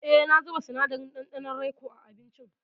E, na zuba sinadarin ɗanɗanon raikoa abincin.